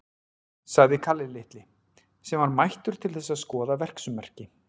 sagði Kalli litli, sem var mættur til þess að skoða verksummerki.